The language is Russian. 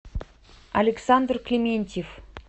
александр клементьев